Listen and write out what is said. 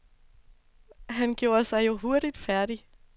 Han gjorde sig jo hurtigt færdig.